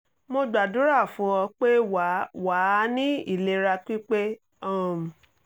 mo gbàdúrà fún ọ pé wà wà á ní ìlera pípé um